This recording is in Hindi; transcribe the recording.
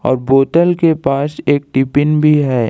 बोतल के पास एक टिफिन भी है।